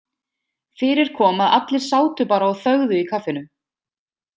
Fyrir kom að allir sátu bara og þögðu í kaffinu.